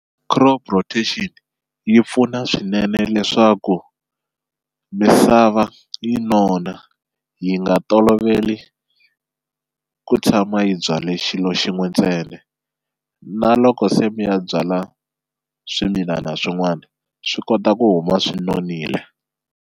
Crop rotation yi pfuna swinene leswaku misava yi nona yi nga toloveli ku tshama yi byale xilo xin'we ntsena na loko se mi ya byala swimilana swin'wana swi kota ku huma swi nonile.